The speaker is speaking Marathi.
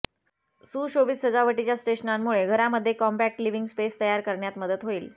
सुशोभित सजावटीच्या स्टेशनांमुळे घरामध्ये कॉम्पॅक्ट लिव्हिंग स्पेस तयार करण्यात मदत होईल